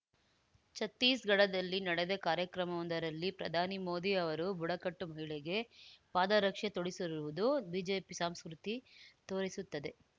ಚತ್ತೀಸ್‌ಗಢದಲ್ಲಿ ನಡೆದ ಕಾರ್ಯಕ್ರಮವೊಂದರಲ್ಲಿ ಪ್ರಧಾನಿ ಮೋದಿ ಅವರು ಬುಡಕಟ್ಟು ಮಹಿಳೆಗೆ ಪಾದರಕ್ಷೆ ತೊಡಿಸಿರುವುದು ಬಿಜೆಪಿ ಸಂಸ್ಕೃತಿ ತೋರಿಸುತ್ತದೆ